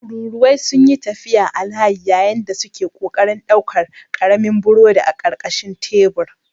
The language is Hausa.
Tururuwai sun yi tafiya a layi yayin da suke ƙoƙarin ɗaukar ƙaramin burodi a ƙarƙashin tebur.